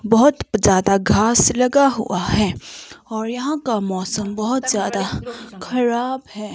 बहुत ज्यादा घास लगा हुआ है और यहां का मौसम बहुत ज्यादा खराब है।